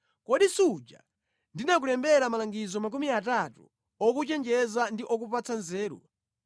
Kodi suja ndinakulembera malangizo makumi atatu okuchenjeza ndi okupatsa nzeru,